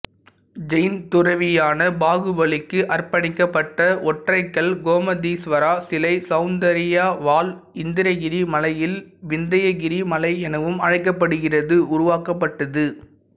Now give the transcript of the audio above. ஜெயின் துறவியான பாகுபலிக்கு அர்ப்பணிக்கப்பட்ட ஒற்றைக்கல் கோமதீஸ்வரா சிலை சவுந்தராயாவால் இந்திரகிரி மலையில் விந்தியகிரி மலை எனவும் அழைக்கப்படுகிறது உருவாக்கப்பட்டது